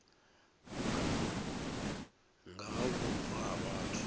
nga ha vhubvo ha vhathu